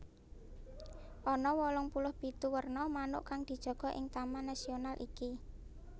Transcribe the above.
Ana wolung puluh pitu werna manuk kang dijaga ing taman nasional iki